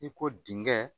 I ko dingɛn